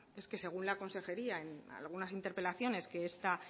es que según la consejería en algunas interpelaciones que esta